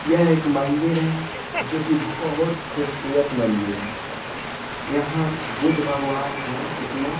यह एक मन्दिर है जो की बहुत खूबसूरत मंदिर है यहाँ बुद्ध भगवान है इसमें।